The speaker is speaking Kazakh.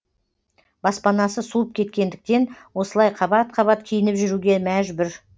баспанасы суып кеткендіктен осылай қабат қабат киініп жүруге мәжбүр